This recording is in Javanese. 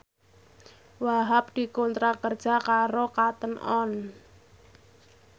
Wahhab dikontrak kerja karo Cotton On